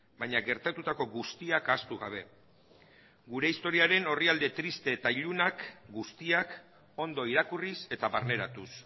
baina gertatutako guztiak ahaztu gabe gure historiaren orrialde triste eta ilunak guztiak ondo irakurriz eta barneratuz